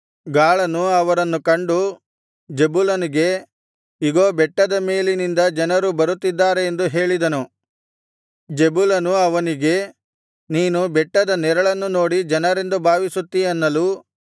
ಗಾಳನು ಅವರನ್ನು ಕಂಡು ಜೆಬುಲನಿಗೆ ಇಗೋ ಬೆಟ್ಟದ ಮೇಲಿನಿಂದ ಜನರು ಬರುತ್ತಿದ್ದಾರೆ ಎಂದು ಹೇಳಿದನು ಜೆಬುಲನು ಅವನಿಗೆ ನೀನು ಬೆಟ್ಟದ ನೆರಳನ್ನು ನೋಡಿ ಜನರೆಂದು ಭಾವಿಸುತ್ತೀ ಅನ್ನಲು